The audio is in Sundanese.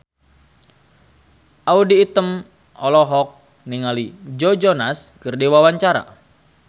Audy Item olohok ningali Joe Jonas keur diwawancara